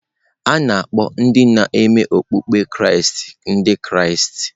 A na-akpọ ndị ne-me okpụkpe Kraịst Ndị Kraịst.